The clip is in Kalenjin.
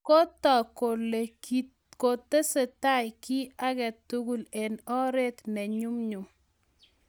kotog' kole kotesetai kiy tugul eng oret ne nyumnyum